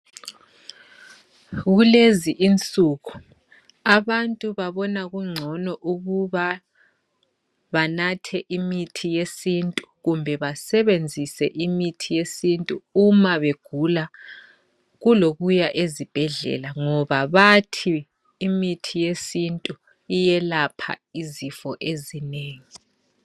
Kulezi insuku abantu babona kungcono ukuba banathe imithi yesintu kumbe basebenzise imithi yesintu uma begula kulokuya ezibhedlela ngoba bathi imithi yesintu iyelapha izifo ezinengi.